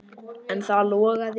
En það logaði ekki.